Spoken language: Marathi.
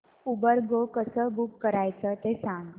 उबर गो कसं बुक करायचं ते सांग